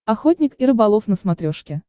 охотник и рыболов на смотрешке